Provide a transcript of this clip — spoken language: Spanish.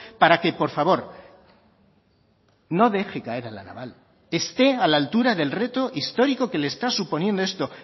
para que por favor no deje caer a la naval esté a la altura del reto histórico que le está suponiendo esto